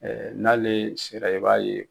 Ɛɛ n'ale sera i b'a ye.